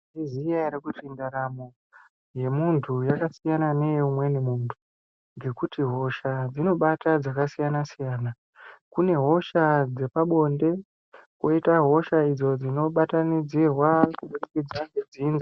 Munozviziya ere kuti ndaramo yemuntu yakasiyana neye umweni muntu. Ngekuti hosha dzinobata dzakasiyana-siyana. Kune hosha dzepabonde koita hosha idzo dzinobatanidzirwa kubudikidza ngedzinza.